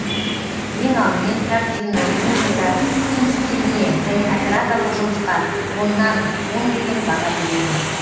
ең алдымен картина музыка киім стиліне және операторлық жұмысқа оннан он деген баға беремін